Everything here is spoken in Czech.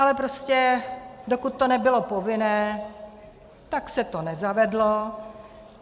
Ale prostě dokud to nebylo povinné, tak se to nezavedlo.